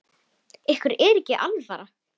Ykkur er ekki alvara!